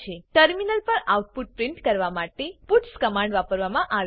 terminal પર output print કરવા માટે પટ્સ કમાંડ વાપરવા મા આવે છે